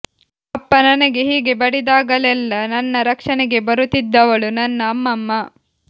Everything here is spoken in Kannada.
ಅಪ್ಪ ನನಗೆ ಹೀಗೆ ಬಡಿದಾಗಲೆಲ್ಲ ನನ್ನ ರಕ್ಷಣೆಗೆ ಬರುತ್ತಿದ್ದವಳು ನನ್ನ ಅಮ್ಮಮ್ಮ